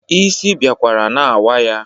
Isi biakwara na-awa ya.